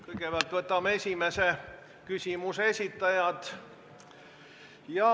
Kõigepealt võtame esimese küsimuse esitaja.